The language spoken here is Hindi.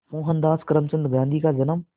मोहनदास करमचंद गांधी का जन्म